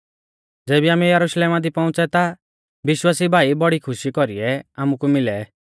ज़ेबी आमै यरुशलेमा दी पौउंच़ै ता विश्वासी भाई बड़ी खुशी कौरीऐ आमुकु मिलै